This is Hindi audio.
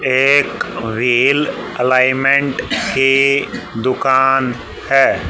एक व्हील एलाइनमेंट की दुकान है।